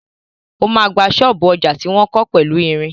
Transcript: O ma gba ṣọ́ọ̀bú ọjà tí wọ́n kọ́ pẹ̀lú ìrìn.